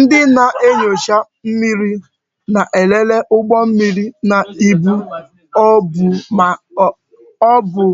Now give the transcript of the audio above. Ndị na-enyocha mmiri na-elele ụgbọ mmiri na ibu ọ bụ